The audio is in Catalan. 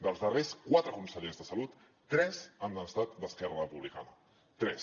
dels darrers quatre consellers de salut tres han estat d’esquerra republicana tres